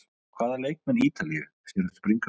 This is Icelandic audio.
Hvaða leikmann Ítalíu sérðu springa út?